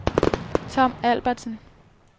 Tom Albertsen